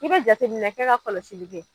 I be jateminɛ kɛ ka kɔlɔsili kɛ